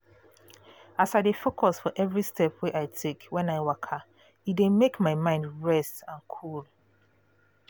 as i dey focus for every step wey i take when i waka e dey make my mind rest and cool